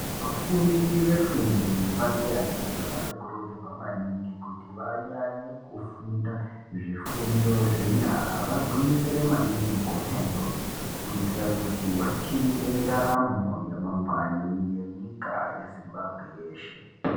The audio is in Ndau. Vafundi ve fundo yepadera dera vano kurudzirwa maningi kuti vanyanye kufunda zvi fundo zve nyara vagwinyisire maningi kona iyoyo kuitira kuti vachinje ndaramo ya mangwani munyika ye Zimbabwe yeshe.